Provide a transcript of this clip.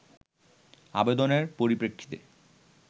আবেদনের পরিপ্রেক্ষিতে